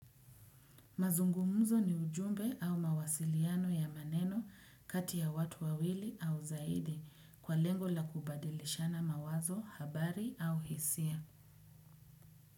Mazungumuzo ni ujumbe au mawasiliano ya maneno kati ya watu wawili au zaidi kwa lengo la kubadilishana mawazo, habari au hisia.